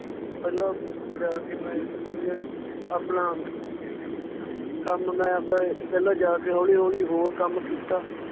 ਪਹਿਲਾਂ ਜਾ ਕੇ ਮੈਂ ਆਪਣਾ ਕੰਮ ਮੈਂ ਆਵਦਾ ਪਹਿਲਾਂ ਜਾ ਕੇ ਹੌਲੀ ਹੌਲੀ ਹੋਰ ਕੰਮ ਕੀਤਾ l